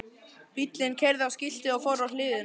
Bíllinn keyrði á skiltið og fór á hliðina!